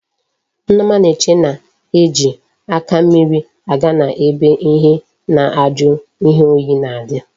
Nneoma na eche na eji aka mmiri aga na ebe ihe na aju ihe oyi na adi